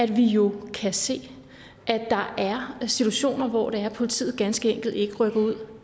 vi jo kan se at der er situationer hvor politiet ganske enkelt ikke rykker ud